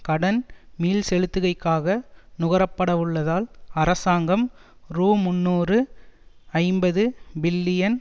கடன் மீள்செலுத்துகைக்காக நுகரப்படவுள்ளதால் அரசாங்கம் ரூமுன்னூற்று ஐம்பது பில்லியன்